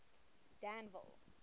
danville